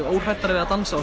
óhræddari við að dansa og